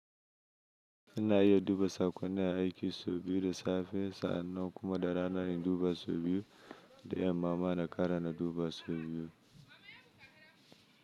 Ina iya duba sakonni a aiki sau biyu da safe, sa'annan kuma da rana in duba sau biyu da yamma ma na kara na duba sau biyu.